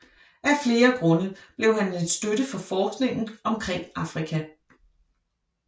Af flere grunde blev han en støtte for forskningen omkring Afrika